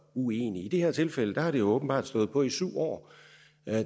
uenig i det her tilfælde har det jo åbenbart stået på i syv år